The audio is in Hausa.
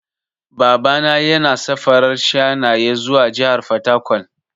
Baba na yana safarar shanaye zuwa jahar fataƙwal.